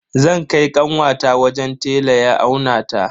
Zan kai kanwata wajen tela ya aunata.